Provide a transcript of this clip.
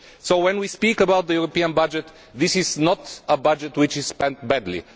So when we speak about the EU budget, this is not a budget which is spent badly.